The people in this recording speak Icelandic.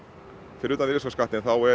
fyrir utan virðisaukaskatt þá eru